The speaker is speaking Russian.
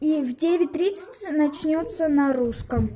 и в девять тридцать начнётся на русском